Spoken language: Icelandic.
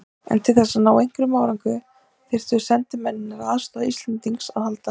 En til þess að ná einhverjum árangri þyrftu sendimennirnir á aðstoð Íslendings að halda.